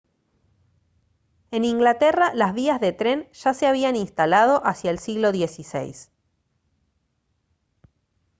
en inglaterra las vías de tren ya se habían instalado hacia el siglo xvi